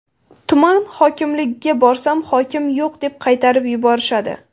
Tuman hokimligiga borsam, hokim yo‘q deb qaytarib yuborishadi.